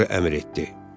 Oğru əmr etdi.